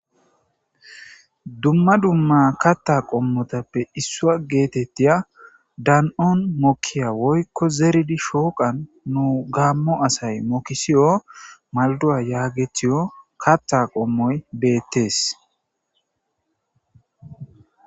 dumma dumma katta qommotappe issua geetettiya dan7on mokkiya woykko zeridi shooqan nu gaammo asay mokisiyo malduwa yaagethiyo katta qommoy beettes